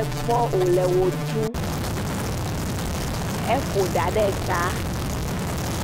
ekpɔm wòle wo ɖum eƒo ɖa ɖe ta.